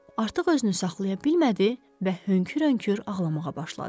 Artıq özünü saxlaya bilmədi və hönkür-hönkür ağlamağa başladı.